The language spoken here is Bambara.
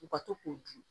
U ka to k'u dun